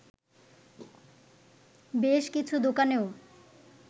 বেশ কিছু দোকানেও